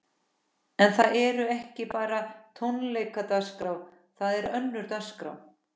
En það eru ekki bara tónleikadagskrá, það er önnur dagskrá?